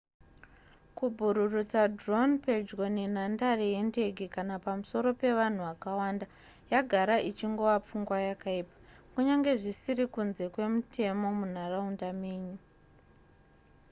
kubhururutsa drone pedyo nenhadare yendege kana pamusoro pevanhu vakawanda yagara ichingova pfungwa yakaipa kunyangwe zvisiri kunze kwemutemo munharaunda menyu